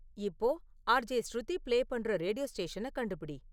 இப்போ RJ Shruti play பண்ணுற radio ஸ்டேஷனக் கண்டுபிடி